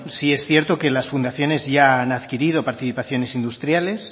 sí es cierto que las fundaciones ya han adquirido participaciones industriales